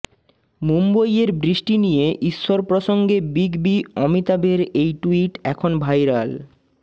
মুম্বইয়ের বৃষ্টি নিয়ে ঈশ্বর প্রসঙ্গে বিগ বি অমিতাভের এই টুইট এখন ভাইরাল